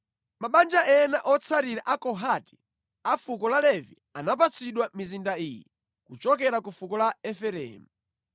Mabanja ena otsalira a Kohati a fuko la Levi anapatsidwa mizinda iyi kuchokera ku fuko la Efereimu: